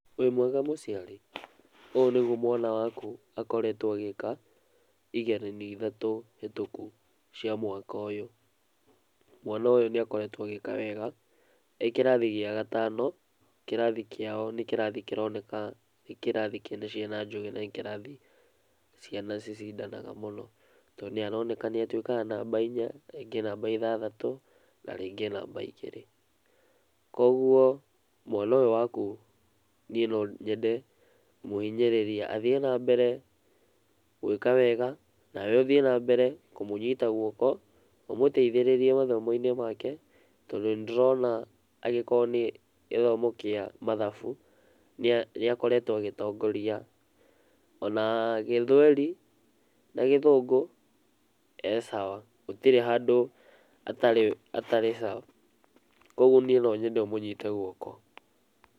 Wĩ mwega mũciari? Ũũ nĩgũo mwana waku akoretwo agĩka igeranio ithatũ hĩtũku cia mwaka ũyũ, mwana ũyũ nĩ akoretwo agĩka wega, ekĩrathi gĩa gatano kĩrathi kĩao nĩ kĩrathĩ kĩronekana nĩ kĩrathi kina ciana njũgĩ na nĩ kĩrathi ciana cicindanaga mũno to nĩ aronekana nĩ atũikaga namba inya rĩngĩ namba ithathatũ na rĩngĩ namba igĩrĩ, kogũo mwana ũyũ waku niĩ no nyende kũmũhĩnyĩrĩria athie na mbere gwĩka wega nawe ũthie na mbere kũmũnyita gũoko ũmũteithĩrĩrie mathomo-inĩ make tondũ nĩ ndĩrona angĩkorwo nĩ gĩthomo kĩa mathabu nĩ akoretwo agĩtongoria, ona gĩthweri na gĩthũngũ e sawa gũtĩrĩ handũ atarĩ sawa, kogũo niĩ no nyende ũmũnyite gũoko.